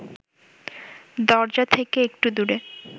দরজা থেকে একটু দূরে